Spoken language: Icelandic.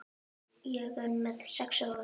Ég er með sex augu.